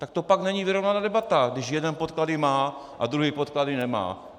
Tak to pak není vyrovnaná debata, když jeden podklady má a druhý podklady nemá.